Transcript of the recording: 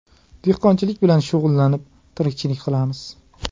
Dehqonchilik bilan shug‘ullanib, tirikchilik qilamiz.